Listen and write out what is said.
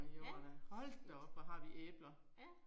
Ja, fedt. Ja